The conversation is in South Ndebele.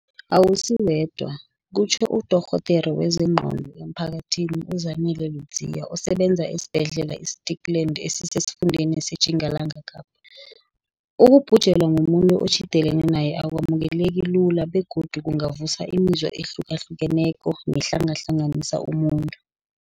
Awusiwedwa, kutjho uDorhodere wezeNgqondo emphakathini uZanele Ludziya osebenza esibhedlela i-Stikland esisesifundeni seTjingalanga Kapa. Ukubhujelwa mumuntu otjhidelene naye akwamukeleki lula begodu kungavusa imizwa ehlukahluke neko nehlangahlanganisa umuntu.